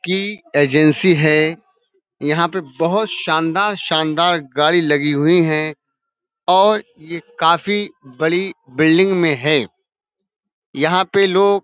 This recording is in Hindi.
की एजेंसी है। यहाँ पे बोहोत शानदार शानदार गाड़ी लगी हुई है और ये काफी बड़ी बिल्डिंग में है। यहाँ पे लोग --